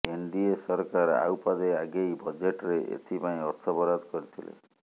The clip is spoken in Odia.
ଏନଡିଏ ସରକାର ଆଉ ପାଦେ ଆଗେଇ ବଜେଟ୍ରେ ଏଥି ପାଇଁ ଅର୍ଥ ବରାଦ କରିଥିଲେ